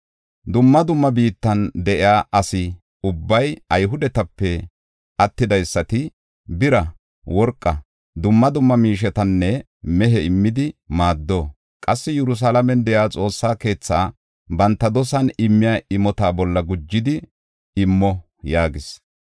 Dumma dumma biittan de7iya asa ubbay Ayhudetape attidaysati bira, worqa, dumma dumma miishetanne mehe immidi maaddo; qassi Yerusalaamen de7iya Xoossaa keethaa banta dosan immiya imota bolla gujidi immo” yaagees.